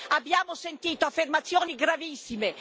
Abbiamo sentito affermazioni gravissime.